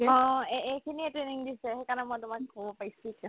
অ অ এইখিনিয়ে training দিছে সেইকাৰণে মই তোমাক ক'ব পাৰিছো এতিয়া